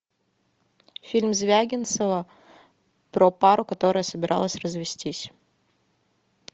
фильм звягинцева про пару которая собиралась развестись